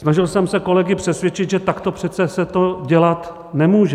Snažil jsem se kolegy přesvědčit, že takto přece se to dělat nemůže.